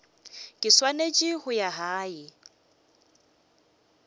ke swanetse go ya gae